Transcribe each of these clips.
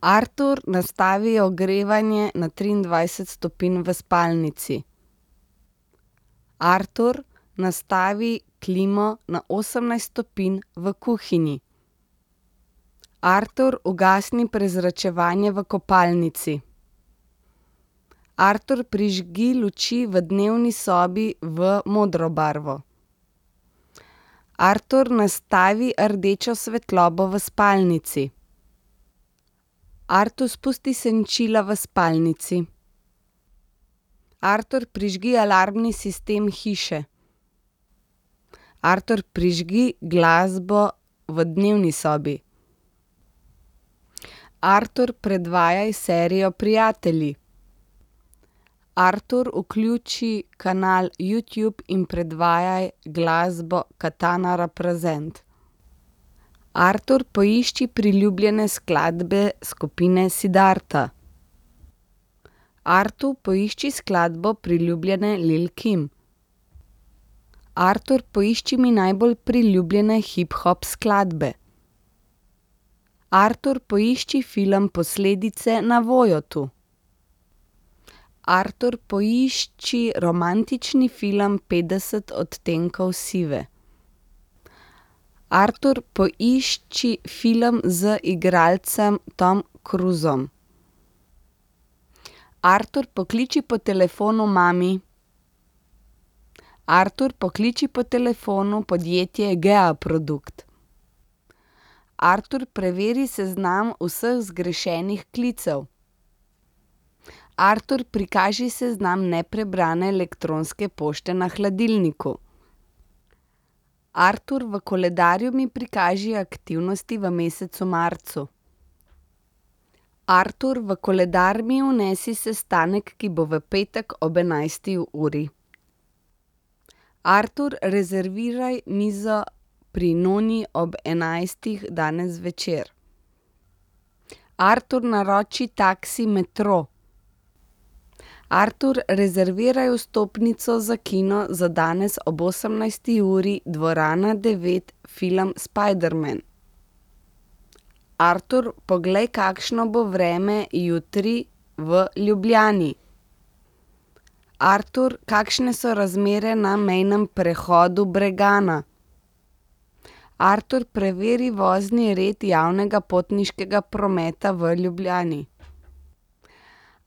Artur, nastavi ogrevanje na triindvajset stopinj v spalnici. Artur, nastavi klimo na osemnajst stopinj v kuhinji. Artur, ugasni prezračevanje v kopalnici. Artur, prižgi luči v dnevni sobi v modro barvo. Artur, nastavi rdečo svetlobo v spalnici. Artur, spusti senčila v spalnici. Artur, prižgi alarmni sistem hiše. Artur, prižgi glasbo v dnevni sobi. Artur, predvajaj serijo Prijatelji. Artur, vključi kanal Youtube in predvajaj glasbo Katana represent. Artur, poišči priljubljene skladbe skupine Siddharta. Artur, poišči skladbo priljubljene Lil' Kim. Artur, poišči mi najbolj priljubljene hiphop skladbe. Artur, poišči film Posledice na Voyotu. Artur, poišči romantični film Petdeset odtenkov sive. Artur, poišči film z igralcem Tomom Cruisom. Artur, pokliči po telefonu mami. Artur, pokliči po telefonu podjetje Geaprodukt. Artur, preveri seznam vseh zgrešenih klicev. Artur, prikaži seznam neprebrane elektronske pošte na hladilniku. Artur, v koledarju mi prikaži aktivnosti v mesecu marcu. Artur, v koledar mi vnesi sestanek, ki bo v petek ob enajsti uri. Artur, rezerviraj mizo Pri noni ob enajstih danes zvečer. Artur, naroči taksi Metro. Artur, rezerviraj vstopnico za kino za danes ob osemnajsti uri, dvorana devet film Spiderman. Artur, poglej, kakšno bo vreme jutri v Ljubljani. Artur, kakšne so razmere na mejnem prehodu Bregana? Artur, preveri vozni red javnega potniškega prometa v Ljubljani.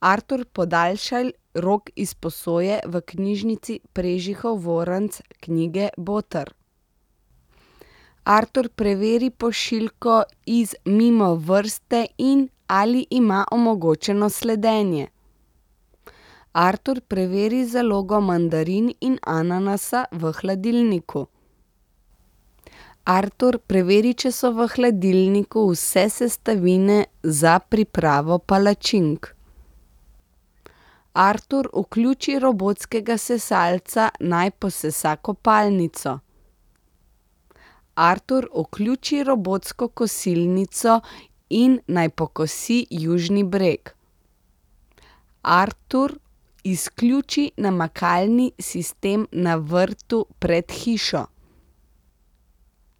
Artur, podaljšaj rok izposoje v Knjižnici Prežihov Voranc knjige Boter. Artur, preveri pošiljko iz Mimovrste, in ali ima omogočeno sledenje. Artur, preveri zalogo mandarin in ananasa v hladilniku. Artur, preveri, če so v hladilniku vse sestavine za pripravo palačink. Artur, vključi robotskega sesalca, naj posesa kopalnico. Artur, vključi robotsko kosilnico in naj pokosi južni breg. Artur, izključi namakalni sistem na vrtu pred hišo.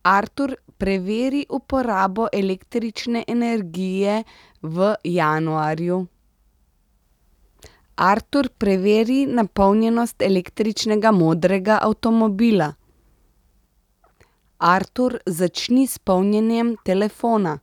Artur, preveri uporabo električne energije v januarju. Artur, preveri napolnjenost električnega modrega avtomobila. Artur, začni s polnjenjem telefona.